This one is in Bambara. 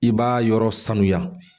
I b'a yɔrɔ sanuya